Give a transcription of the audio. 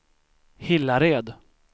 Hillared